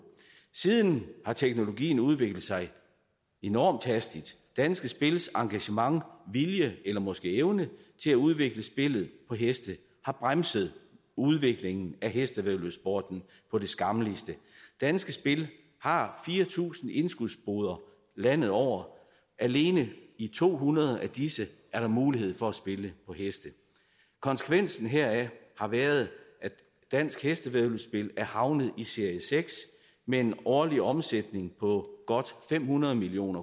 siden har teknologien udviklet sig enormt hastigt danske spils engagement vilje eller måske evne til at udvikle spillet på heste har bremset udviklingen af hestevæddeløbssporten på det skammeligste danske spil har fire tusind indskudsboder landet over alene i to hundrede af disse er der mulighed for at spille på heste konsekvensen heraf har været at dansk hestevæddeløbspil er havnet i serie seks med en årlig omsætning på godt fem hundrede million